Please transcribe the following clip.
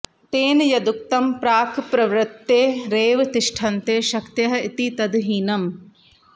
तेन यदुक्तं प्राक्प्रवृत्तेरेव तिष्ठन्ते शक्तय इति तद् हीनम्